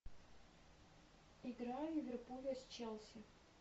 игра ливерпуля с челси